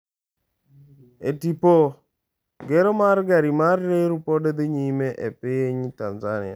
E tipo: Gero mar gari mar reru pod dhi nyime e piny Tanzania